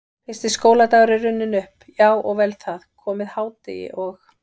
Fyrsti skóladagur er runninn upp, já og vel það, komið hádegi og